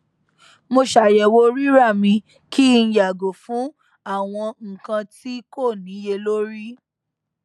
mo ṣàyẹwò rírà mi kí n yàgò fún àwọn nkan tí kò níyelori